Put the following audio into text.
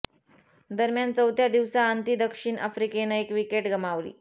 दरम्यान चौथ्या दिवसा अंती दक्षिण आफ्रिकेनं एक विकेट गमावली